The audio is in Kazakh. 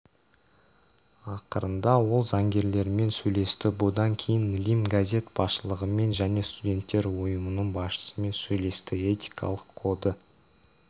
ақырында ол заңгерлермен сөйлесті бұдан кейін лимн газет басшылығымен және студенттер ұйымының басшысымен сөйлесті этикалық коды